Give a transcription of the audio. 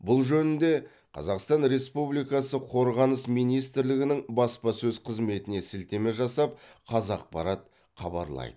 бұл жөнінде қазақстан республикасы қорғаныс министрлігінің баспасөз қызметіне сілтеме жасап қазақпарат хабарлайды